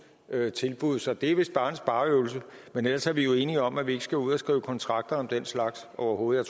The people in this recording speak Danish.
tilbud så det er vist bare en spareøvelse men ellers er vi jo enige om at vi ikke skal ud og skrive kontrakter om den slags overhovedet